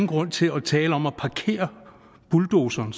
grund til at tale om at parkere bulldozere